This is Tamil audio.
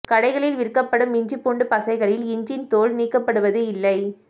கடைகளில் விற்கப்படும் இஞ்சி பூண்டு பசைகளில் இஞ்சின் தோல் நீக்கபடுவது இல்லை